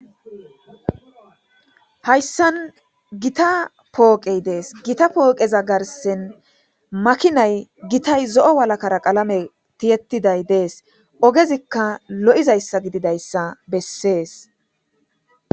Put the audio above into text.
hayssan gita pooqey dees gita pooqeza garsen makinay gitay zo7o walakara qalame tiyettiday dees ogezikka lo7izayssa gididayssa bessees